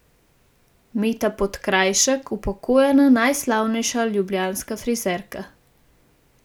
Meta Podkrajšek, upokojena najslavnejša ljubljanska frizerka.